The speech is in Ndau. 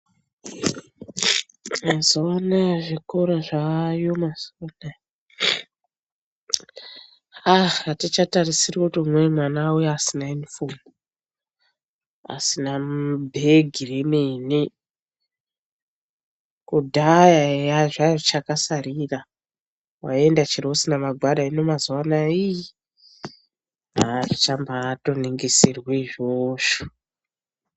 Mazuva anaya zvikora zvayo mazuva anaya aa hatichatarisiri kuti umweni mwana auye asina yunifomu. Asina bhegi remene kudhaya eya zvazvichakasarira vaienda chero usina magwada. Hino mazuva anaya ii hazvichatombo ningisirwi izvozvo.